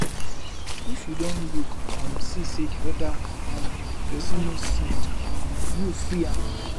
if you don look um see sey di oda um person no send um you free am